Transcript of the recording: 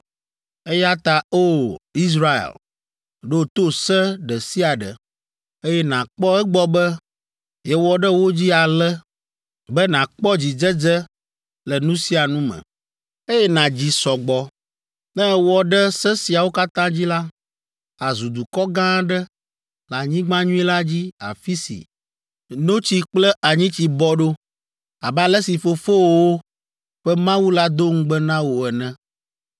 eya ta O! Israel, ɖo to se ɖe sia ɖe, eye nàkpɔ egbɔ be yewɔ ɖe wo dzi ale be nàkpɔ dzidzedze le nu sia nu me, eye nàdzi sɔ gbɔ. Ne èwɔ ɖe se siawo katã dzi la, àzu dukɔ gã aɖe le anyigba nyui la dzi afi si “notsi kple anyitsi bɔ ɖo” abe ale si fofowòwo ƒe Mawu la do ŋugbe na wò ene.